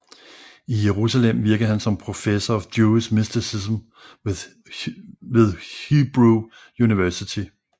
I Jerusalem virkede han som Professor of Jewish Mysticism ved Hebrew University